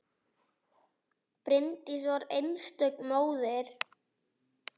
Bryndís var einstök móðir.